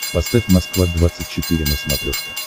поставь москва двадцать четыре на смотрешке